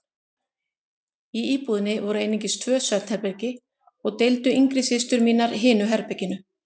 Í íbúðinni voru einungis tvö svefnherbergi og deildu yngri systur mínar hinu herberginu.